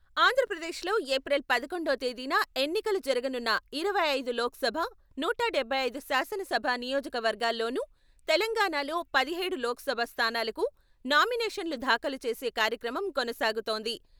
ఆంధ్రప్రదేశ్‌లో ఏప్రిల్ పదకొండో తేదీన ఎన్నికలు జరగనున్న ఇరవై ఐదు లోక్ సభ, నూట డబ్బై ఐదు శాసనసభ నియోజక వర్గాల్లోనూ, తెలంగాణాలో పదిహేడు లోక్సభ స్థానాలకు నామినేషన్లు దాఖలు చేసే కార్యక్రమం కొనసాగుతోంది.‌